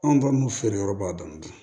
Anw balimamuso feere yɔrɔ b'a dɔn